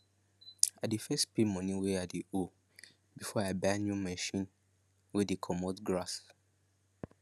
i dey first pay money wey i dey owe before i buy new machine wey dey comot grass